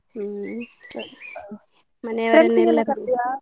ಹ್ಮ್ ಮನೆಯವರೆಲ್ಲ .